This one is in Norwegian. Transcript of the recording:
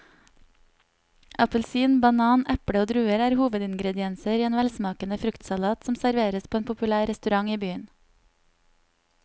Appelsin, banan, eple og druer er hovedingredienser i en velsmakende fruktsalat som serveres på en populær restaurant i byen.